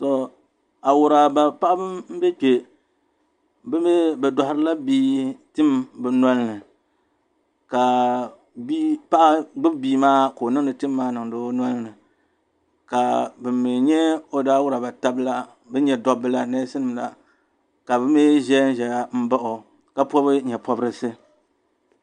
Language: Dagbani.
Tɔ, Awuraaba paɣaba m-be kpe bɛ mi bɛ dɔhiri la bia tim bɛ noli ni ka bia paɣa gbubi bia maa ka o niŋdi tim maa niŋdi o noli ni ka ban mi nyɛ o wuraaba taba la ban nyɛ dabba la neesi nima la ka bɛ mi ʒe n-ʒeya m-baɣi o ka pɔbi nye' pɔbirisi.